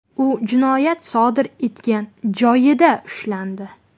U jinoyat sodir etgan joyida ushlandi.